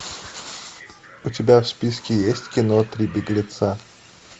у тебя в списке есть кино три беглеца